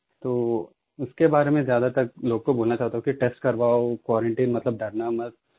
तो उसके बारे में ज्यादातर लोगों को बोलना चाहता हूँ कि टेस्ट करवाओ क्वारंटाइन मतलब डरना मत